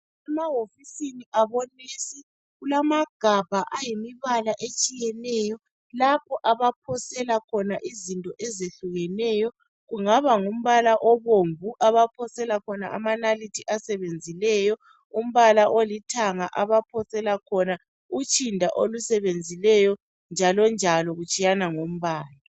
Emahofisini abomongikazi kulamagabha amanengi atshiyeneyo lapho abaphosela khona izinto ezehlukeneyo. Kungaba ngumbala obomvu abaphosela khona amanalithi asebenzileyo olithanga abaphosela khona utshinda olusebenzileyo njalonjalo.